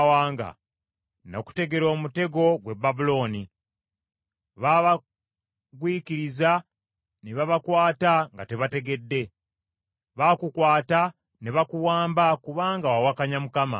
Nakutegera omutego, ggwe Babulooni, babagwiikiriza ne babakwata nga tebategedde, baakukwata ne bakuwamba kubanga wawakanya Mukama .